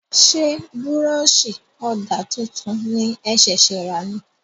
Ṣé búrọ̀sì ọ̀dà tuntun ní e ṣẹ̀sẹ̀ ra ní?